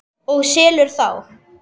Og selur þá.